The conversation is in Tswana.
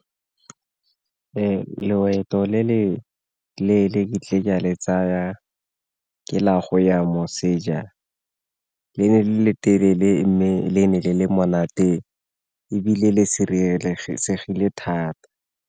Loeto le le leele ka le tsaya ke la go ya moseja le le telele le le monate ebile le sireletsegile thata.